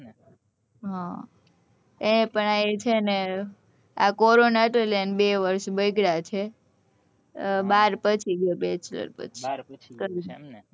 હ પણ એ છે ને આ corona હતો એટલે આના બે વર્ષ બગડ્યા છે બાર પછી ગયો bechlor પછી કરી ને